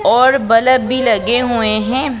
और बल्ब भी लगे हुए हैं।